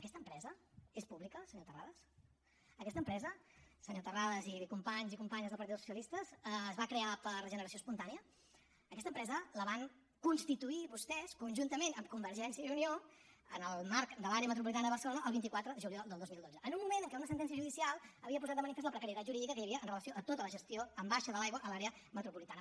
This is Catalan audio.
aquesta empresa és pública senyor terrades aquesta empresa senyor terrades i companys i companyes del partit dels socialistes es va crear per generació espontània aquesta empresa la van constituir vostès conjuntament amb convergència i unió en el marc de l’àrea metropolitana de barcelona el vint quatre de juliol del dos mil dotze en un moment en què una sentència judicial havia posat de manifest la precarietat jurídica que hi havia amb relació a tota la gestió en baixa de l’aigua a l’àrea metropolitana